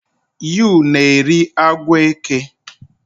You na-eri agwọ eke?